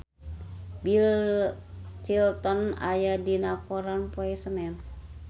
Bill Clinton aya dina koran poe Senen